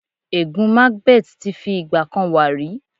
Ègún macbeth ti fi ìgbà kan wà rí.